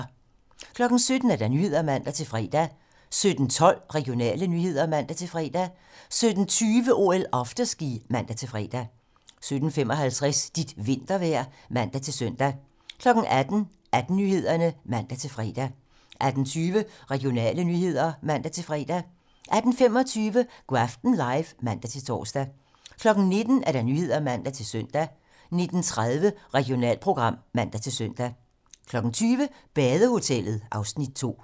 17:00: Nyhederne (man-fre) 17:12: Regionale nyheder (man-fre) 17:20: OL: Afterski (man-fre) 17:55: Dit vintervejr (man-søn) 18:00: 18 Nyhederne (man-fre) 18:20: Regionale nyheder (man-fre) 18:25: Go' aften live (man-tor) 19:00: 19 Nyhederne (man-søn) 19:30: Regionalprogram (man-søn) 20:00: Badehotellet (Afs. 2)